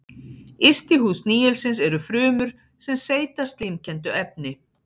Yst í húð snigilsins eru frumur sem seyta slímkenndu efni.